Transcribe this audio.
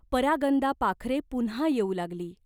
परागंदा पाखरे पुन्हा येऊ लागली.